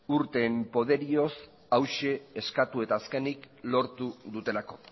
urteen poderioz hauxe eskatu eta azkenik lortu dutelako